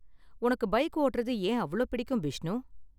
உனக்கு பைக் ஓட்டுறது ஏன் அவ்ளோ பிடிக்கும், பிஷ்ணு?